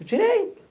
Eu tirei.